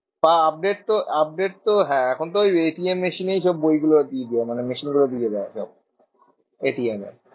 বা update তো update তো হ্যাঁ এখন তো ওই machine এই সব বই গুলো দিয়ে দেয়। মানে machine গুলোয় দিয়ে দেয় সব। এ